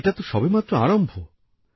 আর এটা তো সবে মাত্র আরম্ভ